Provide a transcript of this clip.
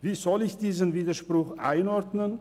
Wie soll ich diesen Widerspruch einordnen?